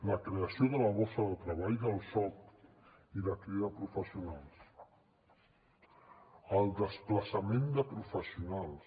la creació de la borsa de treball del soc i la crida de professionals el desplaçament de professionals